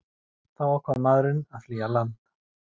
Þá ákvað maðurinn að flýja land